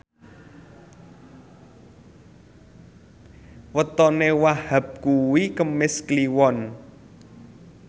wetone Wahhab kuwi Kemis Kliwon